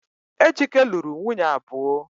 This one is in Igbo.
Ejike luru nwunye abuo